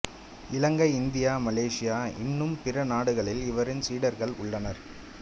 இலங்கை India Malaysia இன்னும் பிற நாடுகளிலும் இவரின் சீடர்கள் உள்ளனர்